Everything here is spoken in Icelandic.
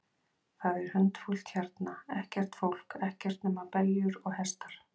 Það er hundfúlt hérna, ekkert fólk, ekkert nema beljur og hestar.